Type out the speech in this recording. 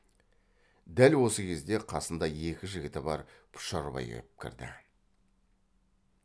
дәл осы кезде қасында екі жігіті бар пұшарбай кеп кірді